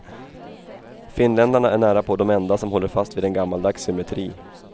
Finländarna är närapå de enda som håller fast vid en gammaldags symmetri.